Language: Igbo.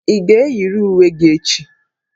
Ị ga-eyiri uwe gị echi!